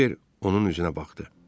Kibər onun üzünə baxdı.